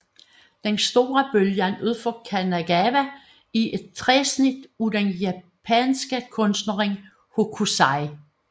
Den store bølge ud for Kanagawa er et træsnit af den japanske kunstner Hokusai